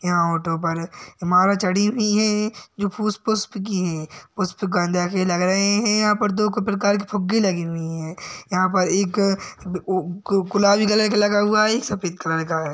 यहाँ ऑटो पर माला चढ़ी हुई है जो फूस पुष्प की हैं। पुष्प लग रहे है। यहाँ पर दो प्रकार के फुग्गे लगे हुए हैं। यहाँ पर एक ओ गो गुलाबी कलर का लगा हुआ है एक सफेद कलर का है।